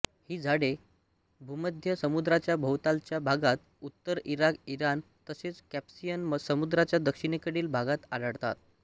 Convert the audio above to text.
ही झाडे भूमध्य समुद्राच्या भोवतालच्या भागात उत्तर इराक इराण तसेच कॅस्पियन समुद्राच्या दक्षिणेकडील भागात आढळतात